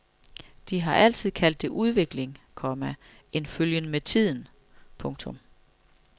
De har altid kaldt det udvikling, komma en følgen med tiden. punktum